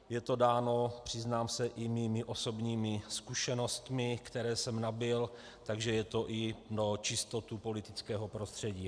Je to dáno, přiznám se, i mými osobními zkušenostmi, které jsem nabyl, takže je to i pro čistotu politického prostředí.